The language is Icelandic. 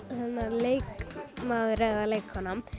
leikmaður eða leikkona